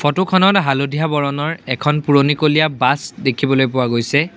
ফটোখনত হালধীয়া বৰণৰ এখন পুৰণিকলীয়া বাছ দেখিবলৈ পোৱা গৈছে।